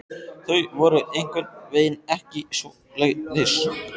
Þau voru einhvern veginn ekki svoleiðis.